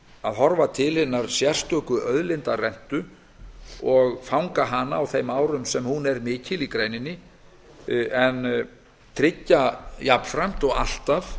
að horfa til hinnar sérstöku auðlindarentu og fanga hana á þeim árum sem hún er mikil í greininni en tryggja jafnframt og alltaf